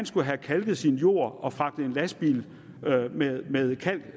skulle have kalket sin jord og fragtet en lastbil med med kalk